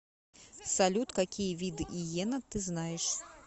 салют какие виды иена ты знаешь